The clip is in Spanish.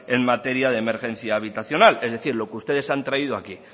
en materia de emergencia habitacional es decir lo que ustedes han traído aquí